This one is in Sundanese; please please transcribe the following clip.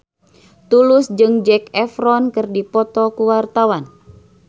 Tulus jeung Zac Efron keur dipoto ku wartawan